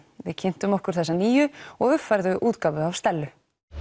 við kynntum okkur þessa nýju og uppfærðu útgáfu af Stellu